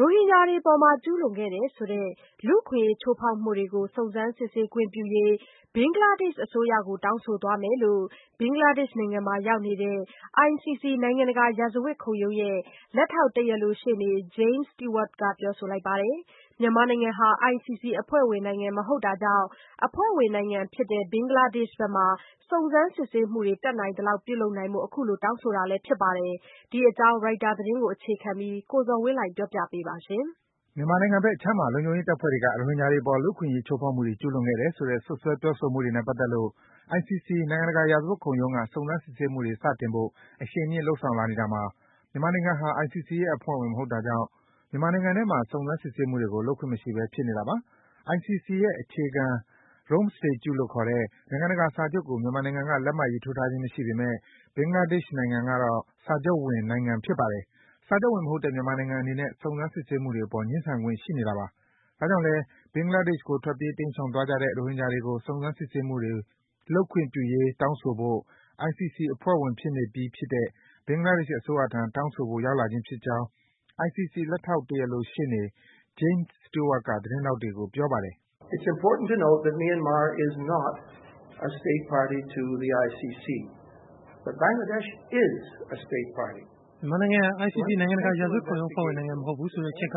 ရိုဟင်ဂျာတွေအပေါ် ကျူးလွန်ခဲ့တယ်ဆိုတဲ့ လူ့အခွင့်အရေး ချိုးဖောက်မှုတွေကို စုံစမ်းခွင့်ပြုရေး ဘင်္ဂလားဒေ့ရှ်အစိုးရကို တောင်းဆိုသွားမယ်လို့ ဘင်္ဂလားဒေ့ရှ်မှာ ရောက်နေတဲ့ ICC နိုင်ငံတကာ ရာဇဝတ်ခုံရုံးရဲ့ လက်ထောက် တရားလိုရှေ့နေ James Stewart က ပြောပါတယ်။ မြန်မာနိုင်ငံဟာ ICC အဖွဲ့ဝင်နိုင်ငံ မဟုတ်တာကြောင့် အဖွဲ့ဝင်နိုင်ငံဖြစ်တဲ့ ဘင်္ဂလားဒေ့ရှ်ဘက်မှာ စုံစမ်း စစ်ဆေးမှုတွေ တတ်နိုင်သလောက် ပြုလုပ်နိုင်ဖို့ အခုလို တောင်းဆိုတာလည်း ဖြစ်ပါတယ်။ ဒီအကြောင်း ရိုက်တာသတင်းကို အခြေခံပြီး ကိုဇော်ဝင်းလှိုင်က တင်ပြပေးပါမယ်။ မြန်မာနိုင်ငံဘက်အခြမ်းမှာ လုံခြုံရေးတပ်ဖွဲ့တွေက ရိုဟင်ဂျာတွေအပေါ် လူ့အခွင့်အရေးချိုးဖောက်မှုတွေ ကျူးလွန်ခဲ့တယ်ဆိုတဲ့ စွပ်စွဲ ပြောဆိုမှုတွေနဲ့ ပတ်သက်လို့ ICC နိုင်ငံတကာရာဇဝတ်ခုံရုံးက စုံစမ်း စစ်ဆေးမှုတွေ စတင်ဖို့ အရှိန်မြင့် လုပ်ဆောင်လာနေတာမှာ မြန်မာနိုင်ငံဟာ ICC ရဲ့ အဖွဲ့ဝင်မဟုတ်တာကြောင့် မြန်မာနိုင်ငံထဲမှာ စုံစမ်း စစ်ဆေးမှုတွေကို လုပ်ခွင့်မရှိဘဲ ဖြစ်နေတာပါ။ ICC ရဲ့ အခြေခံ Rome Statute လို့ခေါ်တဲ့ နိုင်ငံတကာ စာချုပ်ကို မြန်မာနိုင်ငံက လက်မှတ်ရေးထိုးထားခြင်း မရှိပေမဲ့ ဘင်္ဂလားဒေ့ရှ် နိုင်ငံကတော့ စာချုပ်ဝင်နိုင်ငံ ဖြစ်ပါတယ်။ စာချုပ်ဝင် မဟုတ်တဲ့ မြန်မာနိုင်ငံအနေနဲ့ စုံစမ်းစစ်ဆေးမှုအပေါ် ငြင်းဆန်ခွင့် ရှိနေတာပါ။ ဒါကြောင့်လည်း ဘင်္ဂလားဒေ့ရှ်ကို ထွက်ပြေး တိမ်းရှောင်သွားကြတဲ့ ရိုဟင်ဂျာတွေကို စုံစမ်း စစ်ဆေးမှုတွေ လုပ်ခွင့်ပြုရေး တောင်းဆိုဖို့ ICC အဖွဲ့ဝင်ဖြစ်နေပြီး ဖြစ်တဲ့ ဘင်္ဂလားဒေ့ရှ်အစိုးရထံ တောင်းဆိုဖို့ ရောက်လာခြင်းဖြစ်ကြောင်း ICC လက်ထောက် တရားလိုရှေ့နေ James Stewart က သတင်းထောက်တွေကို ပြောပါတယ်။ “မြန်မာဟာ ICC နိုင်ငံတကာရာဇဝတ် ခုံရုံးအဖွဲ့ဝင်နိုင်ငံ မဟုတ်ဘူးဆိုတဲ့အချက်က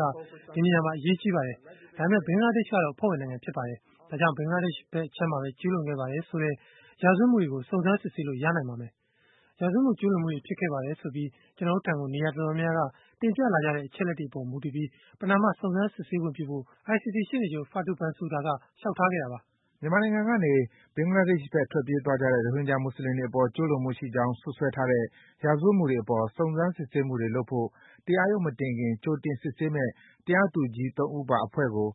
ဒီနေရာမှာ အရေးကြီးပါတယ်။ ဒါပေမဲ့ ဘင်္ဂလားဒေ့ရှ်ကတော့ အဖွဲ့ဝင်နိုင်ငံ ဖြစ်ပါတယ်။ ဒါကြောင့် ဘင်္ဂလားဒေ့ရှ်ဘက်အခြမ်းမှာဘဲ ကျူးလွန်ခဲ့ပါတယ် ဆိုတဲ့ ရာဇဝတ်မှုတွေကို စုံစမ်း စစ်ဆေးလို့ ရနိုင်ပါမယ်။ ရာဇဝတ်မှု ကျူးလွန်မှုတွေ ဖြစ်ခဲ့ပါတယ်ဆိုပြီး ကျနော်တို့ထံကို နေရာ အတော် များများက တင်ပြလာကြတဲ့အချက်အလက်တွေအပေါ် မူတည်ပြီး ပဏာမ စုံစမ်းစစ်ဆေးခွင့်ပြုဖို့ ICC ရှေ့နေချုပ် Fatou Bensouda က လျှောက်ထားခဲ့တာပါ။” မြန်မာနိုင်ငံကနေ ဘင်္ဂလားဒေ့ရှ်ဘက် ထွက်ပြေးကြတဲ့ ရိုဟင်ဂျာ မူဆလင်တွေ အပေါ် ကျူးလွန်မှုရှိကြောင်း စွပ်စွဲထားတဲ့ ရာဇဝတ်မှုတွေ အပေါ် စုံစမ်းစစ်ဆေးမှုလုပ်ဖို့ တရားရုံးမတင်ခင် ကြိုတင်စစ်ဆေးမယ့် တရားသူကြီး သုံး ဦးပါ အဖွဲ့တခုကို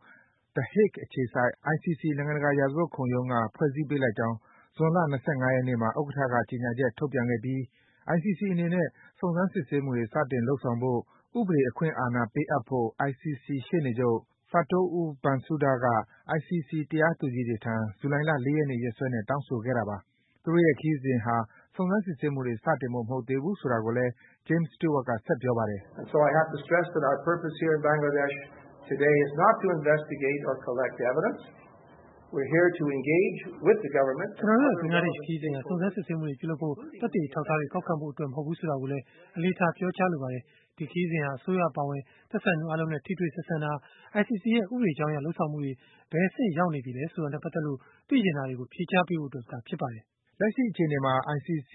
The Hague အခြေစိုက် ICC နိုင်ငံတကာ ရာဇဝတ်ခုံရုံးက ဖွဲ့စည်းပေးလိုက်ကြောင်း ဇွန်လ ၂၅ ရက်နေ့မှာ ဥက္ကဋ္ဌက ကြေညာချက် ထုတ်ပြန်ခဲ့ပြီး - ICC အနေနဲ့ စုံစမ်းစစ်ဆေးမှုတွေ စတင် လုပ်ဆောင်နိုင်ဖို့ ဥပဒေ အခွင့်အာဏာ ပေးအပ်ဖို့ ICC ရှေ့နေချုပ် Fatou Bensouda က ICC တရားသူကြီးတွေထံ ဇူလိုင်လ ၄ ရက်နေ့ ရက်စွဲနဲ့ တောင်းဆိုခဲ့တာပါ။ သူတို့ရဲ့ ဒီခရီးစဉ်ဟာ စုံစမ်း စစ်ဆေးမှုတွေ စတင်ဖို့မဟုတ်သေးဘူး ဆိုတာကိုလည်း James Stewart က ဆက်ပြောပါတယ်။ “ကျနော်တို့ရဲ့ ဘင်္ဂလားဒေ့ရှ်ခရီးစဉ်ဟာ စုံစမ်းစစ်ဆေးမှုတွေ ပြုလုပ်ဖို့၊ သက်သေအထောက်အထားတွေ ကောက်ခံဖို့အတွက် မဟုတ်ဘူးဆိုတာကို အလေးထား ပြောကြားလိုပါတယ်။ ဒီခရီစဉ်ဟာ အစိုးရအပါအဝင် သက်ဆိုင်သူ အားလုံးနဲ့ ထိတွေ့ ဆက်ဆံတာ၊ ICC ရဲ့ ဥပဒေကြောင်းအရ လုပ်ဆောင်မှုတွေ ဘယ်အဆင့်ရောက်နေပြီလဲ ဆိုတာနဲ့ပတ်သက်လို့ သိချင်တာတွေကို ဖြေကြားပေးဖို့အတွက် ဖြစ်ပါတယ်။” လက်ရှိအခြေအနေမှာ ICC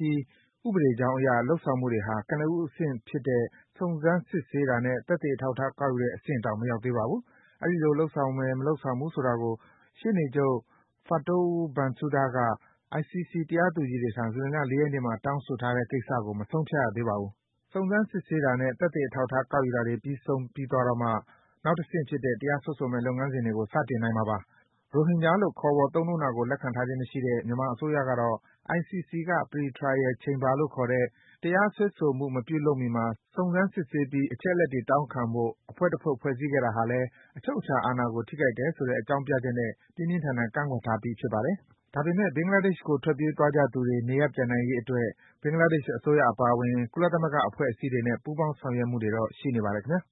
ဥပဒေကြောင်းအရ လုပ်ဆောင်မှုတွေဟာ ကနဦး အဆင့်ဖြစ်တဲ့ စုံစမ်း စစ်ဆေးတာနဲ့ သက်သေအထောက်အထား ကောက်ယူတဲ့အဆင့်တောင် မရောက်သေးပါဘူး။ အဲဒီလို လုပ်ဆောင်မယ် မလုပ်ဆောင်ဘူး ဆိုတာကို ရှေ့နေချုပ် Fatou Bensouda က ICC တရားသူကြီးတွေထံ ဇူလိုင်လ ၄ ရက်နေ့မှာ တောင်းဆိုထားတဲ့ကိစ္စကို မဆုံးဖြတ်ရသေးပါဘူး။ စုံစမ်း စစ်ဆေးတာနဲ့ သက်သေအထောက်အထား ကောက်ယူတာတွေ ပြီးဆုံးသွားတော့မှ နောက်တဆင့်ဖြစ်တဲ့ တရားစွဲဆိုမယ့် လုပ်ငန်းစဉ်ကို စတင်နိုင်မှာပါ။ ရိုဟင်ဂျာလို့ ခေါ်ဆို သုံးနှုန်းတာကို လက်ခံထားခြင်းမရှိတဲ့ မြန်မာအစိုးရကတော့ ICC က Pre-trial chamber လို့ ခေါ်တဲ့ တရားစွဲဆိုမှု မပြုလုပ်မီမှာ စုံစမ်းစစ်ဆေးပြီး အချက်အလက်တွေ တောင်းခံဖို့ အဖွဲ့ တဖွဲ့ ဖွဲ့စည်းခဲ့တာဟာလည်း အချုပ်အခြာ အာဏာကို ထိခိုက်တယ်ဆိုတဲ့ အကြောင်းပြချက်နဲ့ ပြင်းပြင်းထန်ထန် ကန့်ကွက်ထားပြီး ဖြစ်ပါတယ်။ ဒါပေမဲ့ ဘင်္ဂလားဒေ့ရှ်ဘက်ကို ထွက်ပြေးသွားကြသူတွေ နေရပ်ပြန်နိုင်ရေးအတွက် ဘင်္ဂလားဒေ့ရှ် အစိုးရအပါအဝင် ကုလသမဂ္ဂအဖွဲ့အစည်းတွေနဲ့ ပူးပေါင်း ဆောင်ရွက်မှုတွေတော့ ရှိနေပါတယ် ခင်ဗျား။